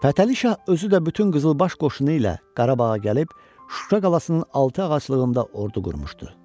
Fətəli Şah özü də bütün qızılbaş qoşunu ilə Qarabağa gəlib, Şuşa qalasının altı ağaclığında ordu qurmuşdu.